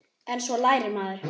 En svo lærir maður.